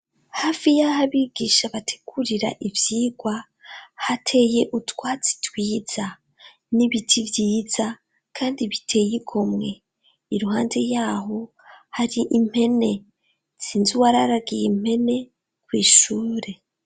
hafi yaho abigisha bategurira ivyigwa hateye utwatsi twiza n'ibiti vyiza kandi biteye ikomwe iruhande yaho hari impene nsinzi uwararagiye mpene kw'ishure